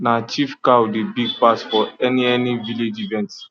na chief cow dey big pass for any any village event